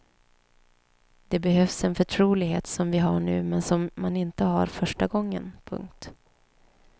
Det behövs en förtrolighet som vi har nu men som man inte har första gången. punkt